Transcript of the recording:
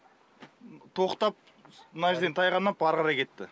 тоқтап мына жерден тайғанап ары қарай кетті